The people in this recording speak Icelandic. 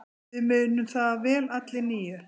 Við munum það vel allir níu.